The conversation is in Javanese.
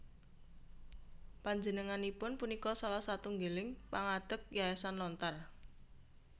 Panjenenganipun punika salah satunggiling pangadeg Yayasan Lontar